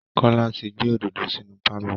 Kọ́lá ti gbé òdòdó sinú pálọ̀